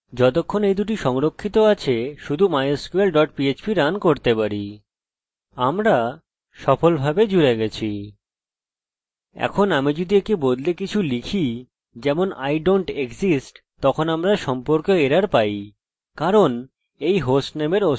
এখন আমি যদি একে বদলে কিছু লিখি যেমন i dont exist তখন আমরা সম্পর্ক এরর পাই কারণ এই হোস্ট নেমের অস্তিত্ব নেই অন্তত এই কম্পিউটারে